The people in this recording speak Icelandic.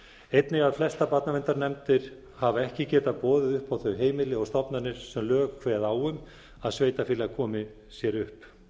einnig að flestar barnaverndarnefndir hafa ekki getað boðið upp á þau heimili og stofnanir sem lög kveða á um að sveitarfélag komi sér upp